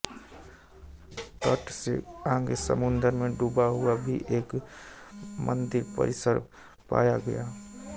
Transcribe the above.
तट से आगे समुद्र में डूबा हुआ भी एक मंदिर परिसर पाया गया है